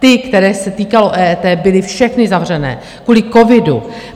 Ty, kterých se týkalo EET, byly všechny zavřené kvůli covidu.